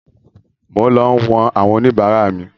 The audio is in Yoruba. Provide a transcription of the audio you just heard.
Mo ń lọ wọ̀n àwọn oníbàárà mi